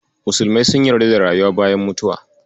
Musulmai sun yarda da rayuwa bayan mutuwa.